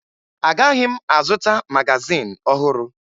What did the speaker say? Agaghị m azụta magazin ọhụrụ